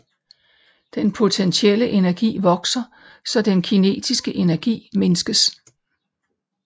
Den potentielle energi vokser så den kinetiske energi mindskes